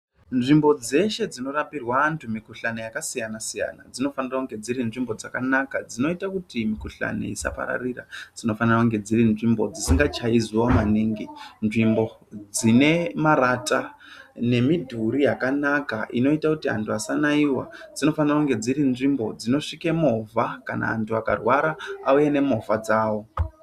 Nzvimbo dzeshe dzinorapirwa antu mikhuhlani yakasiyana siyana dzinofanira kunga dzirinzvimbo dzakanaka dzinoita kuti mikhuhlani isapararira , dzinofanira kunga dzirinzvimbo dzisingachayi zuva maningi , nzvimbo dzinemarata nemidhuri yakanaka inoita kuti antu asanaiwa, dzinofanira kunga dzirinzvimbo dzinosvike mhovha kana vantu vakarwara auye nemovha dzawo.